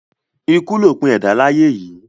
Ikú lòpin ẹ̀dá láyé yìí.